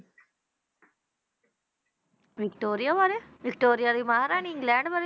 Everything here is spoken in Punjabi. ਵਿਕਟੋਰੀਆ ਬਾਰੇ ਵਿਕਟੋਰੀਆ ਦੀ ਮਹਾਂਰਾਣੀ ਇੰਗਲੈਂਡ ਬਾਰੇ।